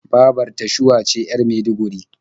Babar ta Shuwa ce 'yar Maiduguri.